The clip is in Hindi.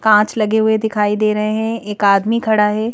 कांच लगे हुए दिखाई दे रहे हैं एक आदमी खड़ा है।